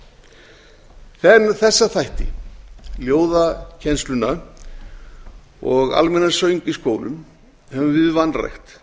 er það er með þessa þætti ljóðakennsla og almennan söng í skólum höfum við vanrækt